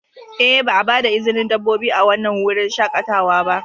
Ee, ba a ba da izinin dabbobi a wannan wurin shakatawa ba.